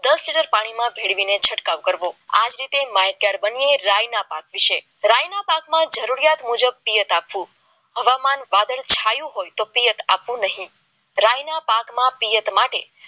દસ લિટર પાણીમાં ભેળવીને છંટકાવ કરવો હા આજ રીતે બંને રાયના પાકો વિશે રાયના રાયના પાકમાં જરૂરિયાત આપવું હવામાન વાદળછાયુ તો પિયત આપવું નહીં રાયના પાકમાં પિયત માટે